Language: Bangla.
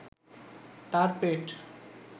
তার পেট